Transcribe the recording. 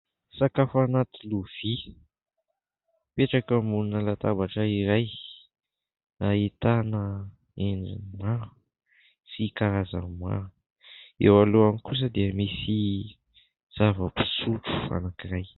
Sakafo anaty lovia, mipetraka ambonina latabatra iray ahitana endriny maro sy karazany maro, eo alohany kosa dia misy zavam-pisotro anankiray.